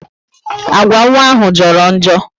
Agwa nwa ahụ joro njo